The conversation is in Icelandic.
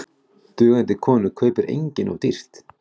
Dugandi konu kaupir enginn of dýrt.